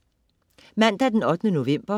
Mandag den 8. november